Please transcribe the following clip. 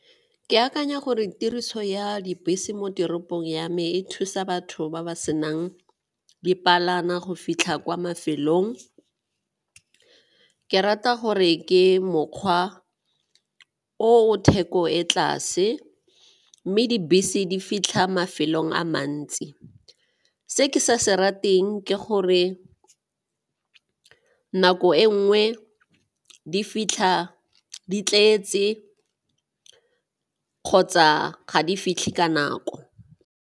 Ke akanya gore tiriso ya dibese mo teropong ya me e thusa batho ba ba senang dipalangwa go fitlha kwa mafelong. Ke rata gore ke mokgwa o o theko e tlase mme dibese di fitlha mafelong a mantsi. Se ke sa se rateng ke gore nako e nngwe di fitlha di tletse kgotsa ga di fitlhe ka nako.